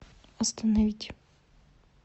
остановить